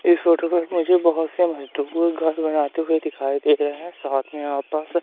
इस फोटो मुझे बहोत से मजदूर घर बनाते हुए दिखाई दे रहे हैं साथ में आपा--